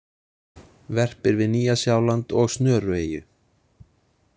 Verpir við Nýja-Sjáland og Snörueyju.